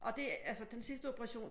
Og det altså den sidste operation